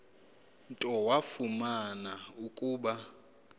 nto wafumana ukuba